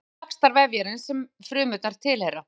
Þetta leiðir til vaxtar vefjarins sem frumurnar tilheyra.